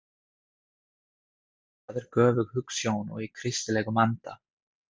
Það er göfug hugsjón og í kristilegum anda.